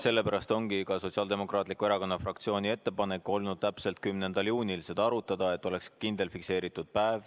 Sellepärast ongi Sotsiaaldemokraatliku Erakonna fraktsiooni ettepanek olnud täpselt 10. juunil seda arutada, et oleks kindel fikseeritud päev.